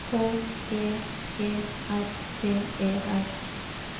H J E R T E R